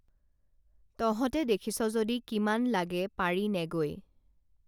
তহঁতে দেখিছ যদি কিমান লাগে পাৰি নেগৈ